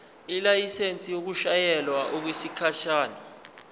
ilayisensi yokushayela okwesikhashana